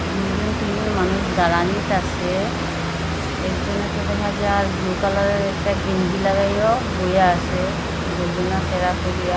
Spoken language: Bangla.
দুইজন তিনজন মানুষ দাঁড়ানিত আসে একজনে তো দেখা যার ব্লু কালারের একটা গেঞ্জি লাগাইয়াও বইয়া আসে গর্জনা ত্যারা করিয়া--